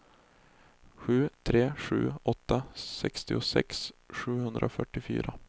sju tre sju åtta sextiosex sjuhundrafyrtiofyra